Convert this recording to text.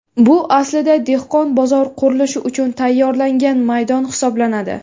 Bu, aslida, dehqon bozor qurilishi uchun tayyorlangan maydon hisoblanadi.